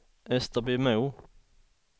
Österbymo